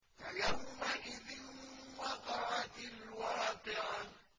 فَيَوْمَئِذٍ وَقَعَتِ الْوَاقِعَةُ